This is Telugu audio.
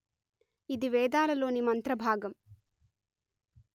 ఇది వేదాలలోని మంత్రభాగం